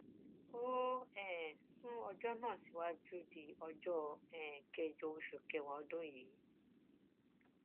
ó um sún ẹjọ náà síwájú di ọjọ um kẹjọ oṣù kẹwàá ọdún yìí